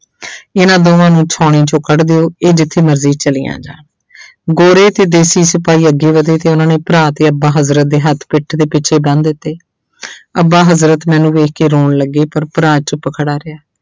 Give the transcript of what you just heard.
ਇਹਨਾਂ ਦੋਹਾਂ ਨੂੰ ਸਾਉਣੀ ਚੋਂ ਕੱਢ ਦਿਓ ਇਹ ਜਿੱਥੇ ਮਰਜ਼ੀ ਚਲੀਆਂ ਜਾਣ ਗੋਰੇ ਤੇ ਦੇਸੀ ਸਿਪਾਹੀ ਅੱਗੇ ਵਧੇ ਤੇ ਉਹਨਾਂ ਨੇ ਭਰਾ ਤੇ ਅੱਬਾ ਹਜ਼ਰਤ ਦੇ ਹੱਥ ਪਿੱਠ ਦੇ ਪਿੱਛੇ ਬੰਨ ਦਿੱਤੇ ਅੱਬਾ ਹਜ਼ਰਤ ਮੈਨੂੰ ਵੇਖ ਕੇ ਰੋਣ ਲੱਗੇ ਪਰ ਭਰਾ ਚੁੱਪ ਖੜਾ ਰਿਹਾ।